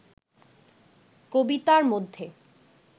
কবিতার মধ্যে